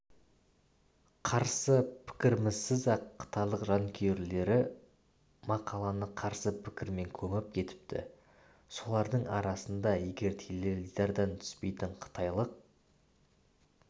қарсы пікірімізсіз-ақ қытайлық жанкүйерлері мақаланы қарсы пікірмен көміп кетіпті солардың арасында егер теледидардан түспейтін қытайлық